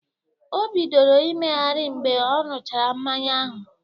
O bidoro imegeri mgbe ọ ṅuchara mmanya ahụ